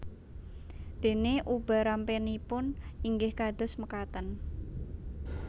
Dènè ubarampènipun inggih kados mekaten